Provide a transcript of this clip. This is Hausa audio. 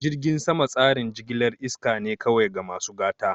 Jirgin sama tsarin jigilar iska ne kawai ga masu gata.